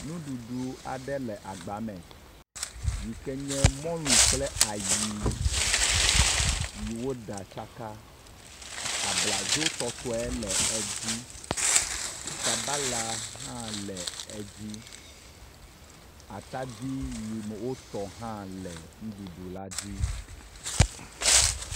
Nuɖuɖu aɖe le agba me yi ken ye mɔlu kple ayii, yi woɖa tsaka. Abladzotɔtɔe le edzii. Sabala hã le edzii. Atadi yi wotɔ hã le nuɖuɖu la dzii.